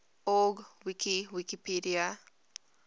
org wiki wikipedia